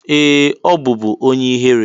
Ee! Ọ bụbu onye ihere.